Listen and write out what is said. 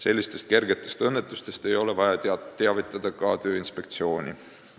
Sellistest kergetest õnnetustest ei ole vaja teavitada ka Tööinspektsiooni.